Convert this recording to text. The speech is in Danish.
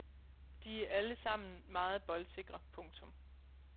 De er alle sammen meget boldsikre. punktum